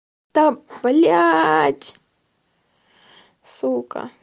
там блять сука